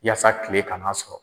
yasa tile kan'a sɔrɔ.